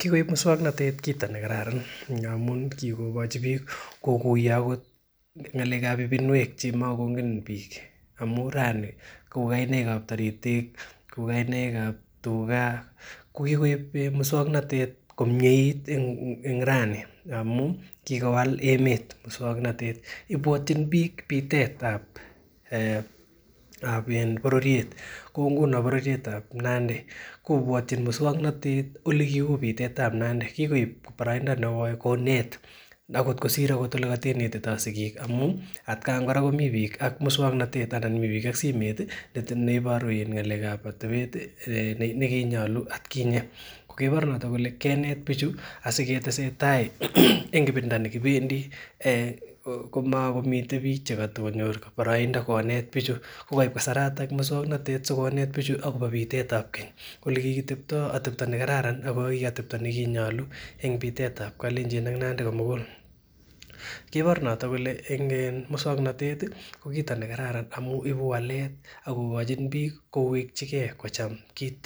Kikoib mukswanotet kitam nekararan ngamun kikokochi bik kokuyo ng'alekab ibinuek chekimokongen bik amuun rani kouu kainaikab taritik, kainaikab tuka, kokikoib musuaknotet komiet en rani ngamun kikowal emeet musuaknotet ibwatin bik bitet en bororiet kou ngunon bororiet tab Nandi kobuatin mukswanotet olekiuu bitet tab Nandi konet yekiketito sikik amuun ih atkai kora komiten bik ak mukswanotet anan ko simeet ih ibaru ng'alekab atebet nekinyolu at kinye, kokibor noto kole kenet bichu asikotesen tai en olekibendi komakomiten bich cheibe kasarta sikonet bichu akobo bitet tab keny olekikitebta atebta ne kararan ak atebta olekinyalu en bitet tab kalechin ak Nandi komugul kibor noto kole mukswanotet ko kit nekararan Ako ibu walet akokochi bik ko kochike kocham kit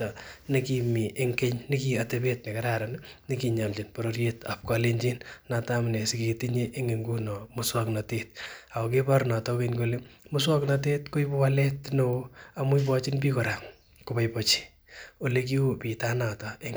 nekimi en keny nekiatebet nekararan nekinyalchin bororietab kalenchin , noton amunee siketinye musuaknotet akokibaor noto koboibachi